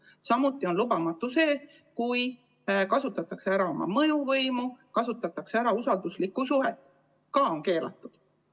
Samuti on lubamatu see, kui kasutatakse ära oma mõjuvõimu, kasutatakse ära usalduslikku suhet – seegi on keelatud.